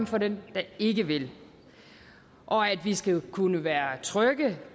for dem der ikke vil at vi skal kunne være trygge